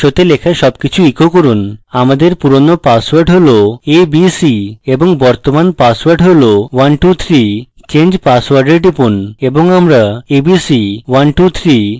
আমাদের পুরানো পাসওয়ার্ড হল abc এবং বর্তমান পাসওয়ার্ড হল 123 change password we টিপুন এবং আমরা abc 123 এবং 123 পাই